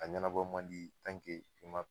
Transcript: A ɲɛnabɔ man di tanke i ma